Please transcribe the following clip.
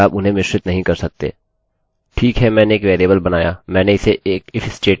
ठीक है मैंने एक वेरिएबल बनाया मैंने इसे एक if statement स्टेट्मेन्ट में निगमित किया उम्मीद है यह उपयोगी था